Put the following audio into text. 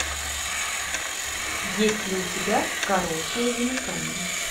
есть ли у тебя короткое замыкание